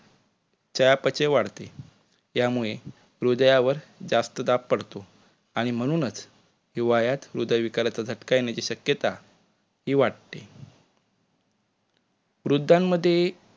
चयापचय वाढते त्यामुळे हृदयावर जास्त दाब पडतो आणि म्हणूनच हिवाळ्यात हृदय विकाराचा झटका येण्याची शक्यता हि वाढते. वृद्धांमध्ये